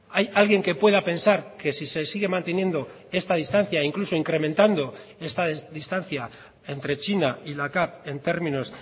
hay alguien que pueda pensar que si se sigue manteniendo esta distancia incluso incrementando esta distancia entre china y la cav en términos